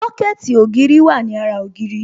Sọ́kẹ̀tì ògiri wà ní ara ògiri